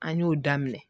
An y'o daminɛ